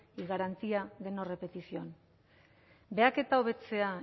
y garantía de no repetición behaketa hobetzea